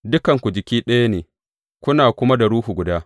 Dukanku jiki ɗaya ne, kuna kuma da Ruhu guda.